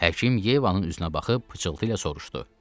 Həkim Yevanın üzünə baxıb pıçıltıyla soruşdu.